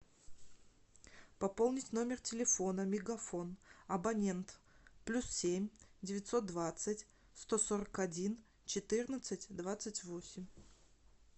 пополнить номер телефона мегафон абонент плюс семь девятьсот двадцать сто сорок один четырнадцать двадцать восемь